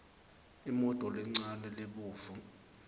imoto lencane lebovu